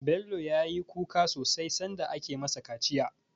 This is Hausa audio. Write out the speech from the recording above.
Bello ya yi kuka sosai sanda ake ma sa kaciya